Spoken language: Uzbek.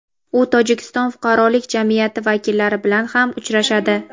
u Tojikiston fuqarolik jamiyati vakillari bilan ham uchrashadi.